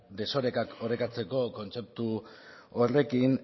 desorekak orekatzeko kontzeptu horrekin